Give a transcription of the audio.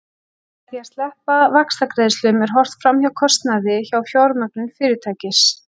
Með því að sleppa vaxtagreiðslum er horft fram hjá kostnaði við fjármögnun fyrirtækis.